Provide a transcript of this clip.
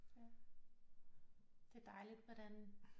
Ja det er dejligt hvordan